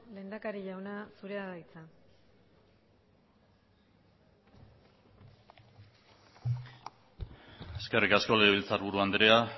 lehendakari jauna zurea da hitza eskerrik asko legebiltzarburu andrea